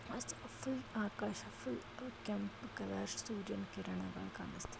full ಆಕಾಶ full ಕೆಂಪು colour ಸೂರ್ಯನ ಕಿರಣಗಳ ಕಾಣಿಸ್ತಾ--